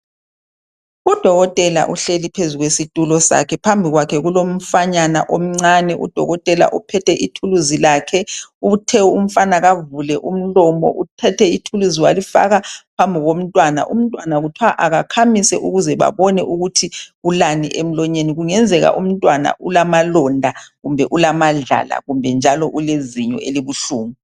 Udokotela uhleli phezu kwesitulo sakhe phambi kwakhe kulomfanyana omncane udokotela uphethe ithuluzi lakhe uthe umfana kavule umlomo uthethe ithuluzi walifaka phambi komntwana umntwana kuthwa akakhamisi ukuze babone ukuthi ulani emlonyeni kungenzeka umntwana ulamalonda kumbe ulamadlala kumbe njalo ulezinyo elibuhlungu.